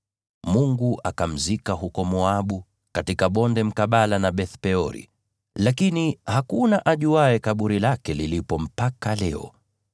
Mungu akamzika huko Moabu, katika bonde mkabala na Beth-Peori, lakini hakuna ajuaye kaburi lake lilipo mpaka leo.